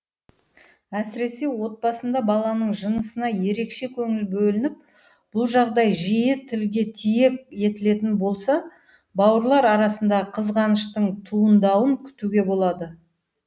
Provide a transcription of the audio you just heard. әсіресе отбасында баланың жынысына ерекше көңіл бөлініп бұл жағдай жиі тілге тиек етілетін болса бауырлар арасындағы қызғаныштың туындауын күтуге болады